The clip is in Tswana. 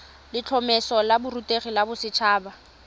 letlhomeso la borutegi la boset